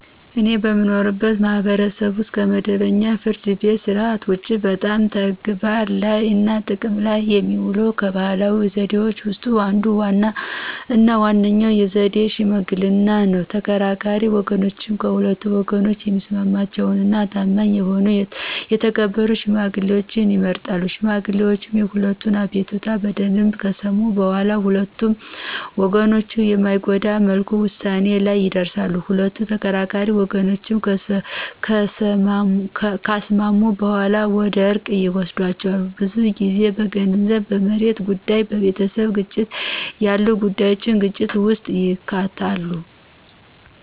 እኔ በምኖርበት ማህበረሰብ ውስጥ ከመደበኛው የፍርድ ቤት ሥርዓት ውጪ በጣም ተግባር ላይ እና ጥቅም ላይ የሚውለው ከባህላዊ ዘዴዎች ውስጥ አንዱ እና ዋነኛው ዘዴ ሽምግልና ነው። ተከራካሪ ወገኖች ከሁለቱ ወገኖች የሚስማማቸውን እና ታማኝ የሆኑ የተከበሩ ሽማግሌዎችን ይመርጣሉ። ሽማግሌዎቹ የሁለቱንም አቤቱታ በደምብ ከሰሙ በኋላ ሁለቱንም ወገኖች በማይጎዳ መልኩ ውሳኔ ላይ ይደርሳሉ። ሁለት ተከራካሪ ወገኖችን ካስማሙ በኋላ ወደ እርቅ ይወስዷቸዋል። ብዙ ጊዜ በገንዘብ፣ በመሬት ጉዳይ፣ በቤተሰብ ግጭት ያሉ ጉዳዩች ግጭት ውስጥ ይከታሉ።